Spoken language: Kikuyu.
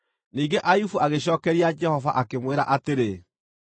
Ningĩ Ayubu agĩcookeria Jehova, akĩmwĩra atĩrĩ: